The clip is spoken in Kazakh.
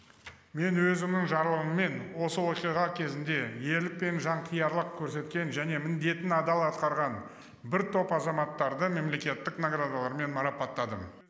мен өзімнің жарлығыммен осы оқиға кезінде ерлік пен жанқиярлық көрсеткен және міндетін адал атқарған бір топ азаматтарды мемлекеттік наградалармен марапаттадым